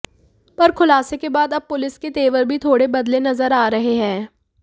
पर खुलासे के बाद अब पुलिस के तेवर भी थोड़े बदले नजर आ रहे हैं